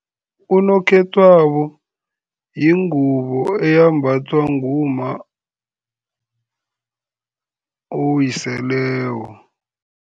Unokhethwabo yingubo eyembathwa ngumma owiseleko.